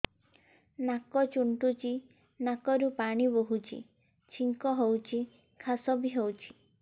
ନାକ ଚୁଣ୍ଟୁଚି ନାକରୁ ପାଣି ବହୁଛି ଛିଙ୍କ ହଉଚି ଖାସ ବି ହଉଚି